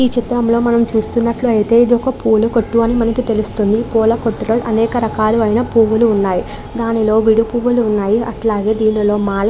ఈ చిత్రంలో మనం చూస్తున్నట్లైతే ఇదొక పూల కొట్టు అని మనకి తెలుస్తుంది. పూల కొట్టులో అనేక రకాలైన పూలు ఉన్నాయ్. దానిలో విడి పూలు ఉన్నాయ్. అట్లగే దీనిలో మాల --